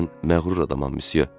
Mən məğrur adamam, müsyo.